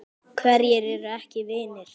Hverjir eru ekki vinir?